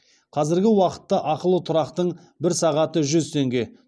қазіргі уақытта ақылы тұрақтың бір сағаты жүз теңге